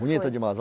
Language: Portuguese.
Bonita demais, ó.